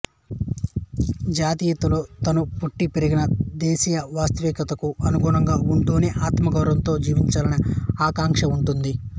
జాతీయతలో తాను పుట్టి పెరిగిన దేశీయవాస్తవికతకు అనుగుణంగా ఉంటూనే ఆత్మగౌరవంతో జీవించాలనే ఆకాంక్ష ఉంటుంది